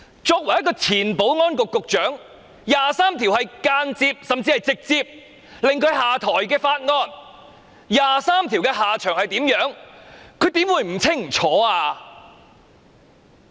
作為前保安局局長，"第二十三條"的法案當年更是間接甚至直接迫使她下台，"第二十三條"法案的下場是甚麼，她怎會不清楚？